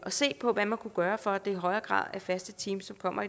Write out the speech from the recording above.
se på hvad man kunne gøre for at det i højere grad er faste teams som kommer